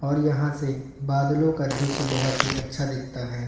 और यहां से बादलों का दृश्य बहोत ही अच्छा दिखता है।